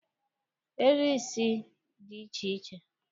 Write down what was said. Eriri isi dị iche iche